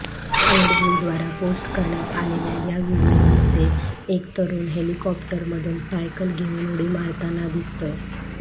red बुलद्वारा post करण्यात आलेल्या या व्हिडीओमध्ये एक तरुण हेलिकॉप्टरमधून सायकल घेऊन उडी मारताना दिसतोय